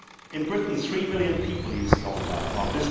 In Britain, 3 million people use the opt out.